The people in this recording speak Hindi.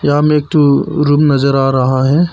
या में एक ठो रूम नजर आ रहा है।